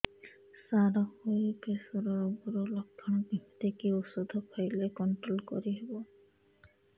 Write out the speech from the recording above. ସାର high pressure ରୋଗର ଲଖଣ କେମିତି କି ଓଷଧ ଖାଇଲେ କଂଟ୍ରୋଲ କରିହେବ